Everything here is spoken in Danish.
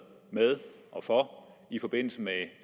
for i forbindelse med